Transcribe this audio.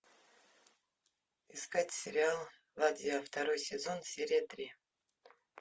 искать сериал ладья второй сезон серия три